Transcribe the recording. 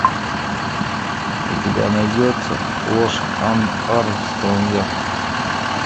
у тебя найдется ложь армстронга